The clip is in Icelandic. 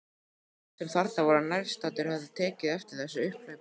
Allir sem þarna voru nærstaddir höfðu tekið eftir þessu upphlaupi.